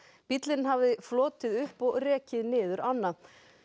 bíllinn hafði flotið upp og rekið niður ána